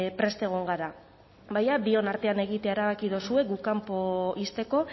prest egon gara baina bion artean egitea erabaki dozue guk kanpo ixteko